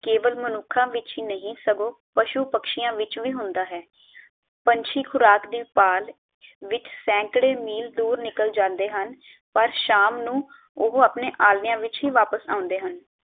ਕੇਵਲ ਮਨੁਖਾਂ ਵਿਚ ਹੀ ਨਹੀਂ ਸਗੋਂ ਪਸ਼ੂ ਪਕਸ਼ੀਆਂ ਵਿਚ ਵੀ ਹੁੰਦਾ ਹੈ ਪੰਛੀ ਖੁਰਾਕ ਦੀ ਭਾਲ ਵਿਚ ਸੈਂਕੜੇ ਮੀਲ ਦੂਰ ਨਿਕਲ ਜਾਂਦੇ ਹਨ, ਪਰ ਸ਼ਾਮ ਨੂੰ ਉਹ ਆਪਣੇ ਆਲਿਆਂ ਵਿਚ ਹੀ ਵਾਪਸ ਆਉਂਦੇ ਹਨ